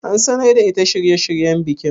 An sanar da ita shirye shiryen bikin?